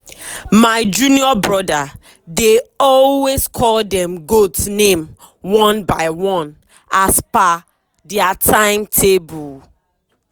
my junior brother dey always call dem goat name one by one as per dia timetable.